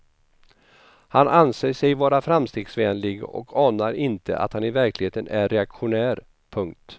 Han anser sig vara framstegsvänlig och anar inte att han i verkligheten är reaktionär. punkt